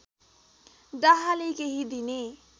डाहाले केही दिने